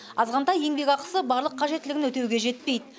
азғантай еңбекақысы барлық қажеттілігін өтеуге жетпейді